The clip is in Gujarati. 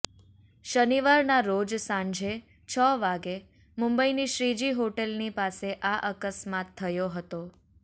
શનિવારના રોજ સાંજે છ વાગે મુંબઈની શ્રીજી હોટલની પાસે આ અકસ્માત થયો હતો